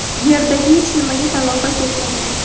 Yerdagi hech nimaga talafot yetmagan.